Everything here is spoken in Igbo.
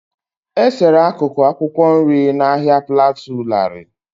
E-sere akụkụ akwụkwọ nri na Ahia plateau larịị.